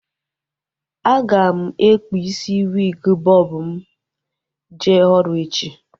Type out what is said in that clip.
A ga m ekpu isi wiig bọb m jee ọrụ echi